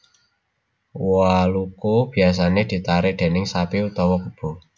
Waluku biasané ditarik déning sapi utawa kebo